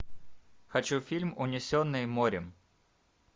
хочу фильм унесенные морем